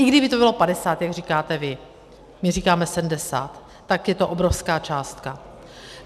I kdyby to bylo 50, jak říkáte vy, my říkáme 70, tak je to obrovská částka.